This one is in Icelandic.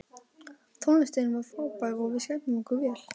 Tónlistin var frábær og við skemmtum okkur vel.